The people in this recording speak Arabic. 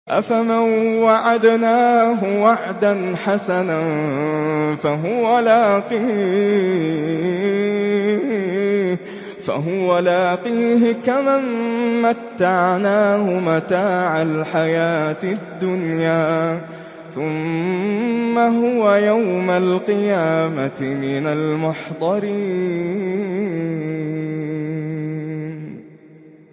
أَفَمَن وَعَدْنَاهُ وَعْدًا حَسَنًا فَهُوَ لَاقِيهِ كَمَن مَّتَّعْنَاهُ مَتَاعَ الْحَيَاةِ الدُّنْيَا ثُمَّ هُوَ يَوْمَ الْقِيَامَةِ مِنَ الْمُحْضَرِينَ